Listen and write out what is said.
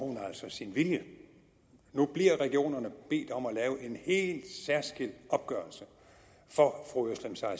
sin vilje nu bliver regionerne bedt om at lave en helt særskilt opgørelse for fru özlem sara